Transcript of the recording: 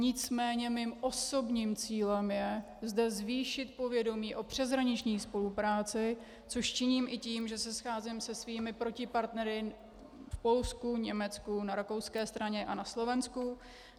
Nicméně mým osobním cílem je zde zvýšit povědomí o přeshraniční spolupráci, což činím i tím, že se scházím se svými protipartnery v Polsku, Německu, na rakouské straně a na Slovensku.